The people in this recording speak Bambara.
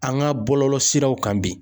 An ka bɔlɔlɔ siraw kan bi.